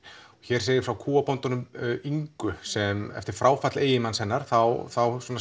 hér segir frá kúabóndanum Ingu sem eftir fráfall eiginmanns hennar þá þá